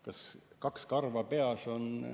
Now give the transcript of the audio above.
Kas kaks karva on palju?